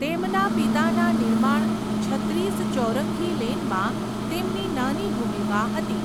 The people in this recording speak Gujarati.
તેમના પિતાના નિર્માણ છત્રીસ ચૌરંઘી લેનમાં તેમની નાની ભૂમિકા હતી.